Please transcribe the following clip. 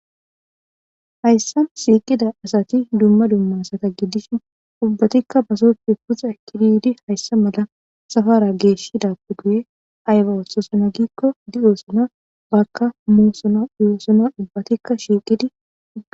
hayssa siiqida asati dumma dumma sata giddishi ubbatikka basoppe puxa ekididi hayssa mala safara geeshidappe guye ayba othosana giikko di7oosana bakka musona iyoosono ubbatikka shiiqidi